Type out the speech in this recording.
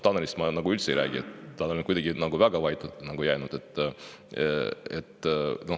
Tanelist ma üldse ei räägi, ta on kuidagi väga vait jäänud.